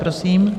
Prosím.